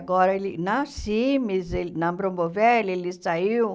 Agora ele na Cimes, ele na Bromboveli ele saiu.